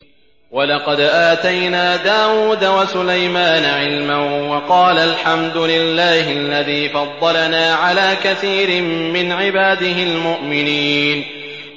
وَلَقَدْ آتَيْنَا دَاوُودَ وَسُلَيْمَانَ عِلْمًا ۖ وَقَالَا الْحَمْدُ لِلَّهِ الَّذِي فَضَّلَنَا عَلَىٰ كَثِيرٍ مِّنْ عِبَادِهِ الْمُؤْمِنِينَ